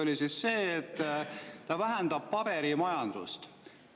Üks oli, et see vähendab paberimajandust.